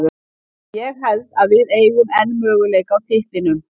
Ég held að við eigum enn möguleika á titlinum.